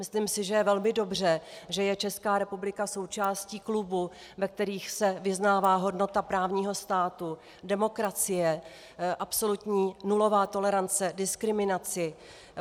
Myslím si, že je velmi dobře, že je Česká republika součástí klubů, ve kterých se vyznává hodnota právního státu, demokracie, absolutní nulová tolerance diskriminaci.